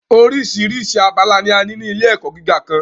Oríṣiríṣi abala ni a ní ilé ẹ̀kọ́ gíga kan.